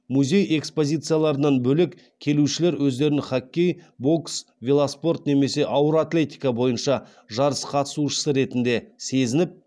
музей экспозицияларынан бөлек келушілер өздерін хоккей бокс велоспорт немесе ауыр атлетика бойынша жарыс қатысушысы ретінде сезініп